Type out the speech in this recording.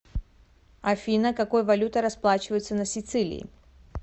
афина какой валютой расплачиваются на сицилии